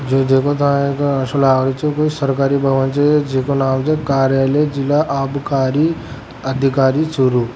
ओ देखो सा सरकारी भवन जिको नाम छ कार्यालय जिला आभकरी अधिकारी चुरु।